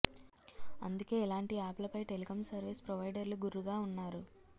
అందుకే ఇలాంటి యాప్ లపై టెలికం సర్వీస్ ప్రొవైడర్లు గుర్రుగా ఉన్నారు